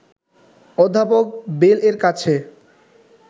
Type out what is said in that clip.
অধ্যাপক বেল-এর কাছে